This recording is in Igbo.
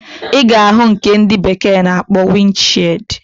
Iga ahu nke ndi bekee na akpo wind shield.